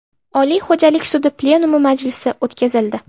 Oliy xo‘jalik sudi plenumi majlisi o‘tkazildi.